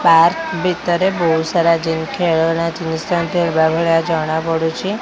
Park ଭିତରେ ବହୁତ ସାରା ଜିନିଷ ଖେଳନା ଜିନିଷ ଥିବା ଭଳିଆ ଜଣା ପଡ଼ୁଛି।